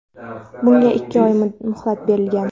Bunga ikki oy muhlat berilgan.